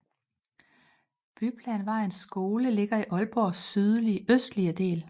Byplanvejens skole ligger i Aalborgs sydøstlige del